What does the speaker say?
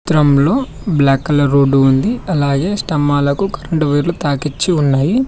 చిత్రంలో black colour road ఉంది అలాగే స్తంభాలకు కరెంట్ వైర్లు తాకిచ్చి ఉన్నాయి.